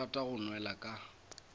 ke rata go nwela ka